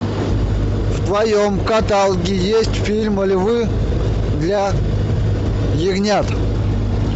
в твоем каталоге есть фильм львы для ягнят